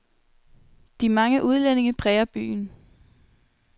De mange udlændinge præger byen.